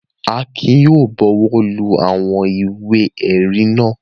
Akin yóò bọwọ́lu àwọn ìwé-ẹ̀rí náà.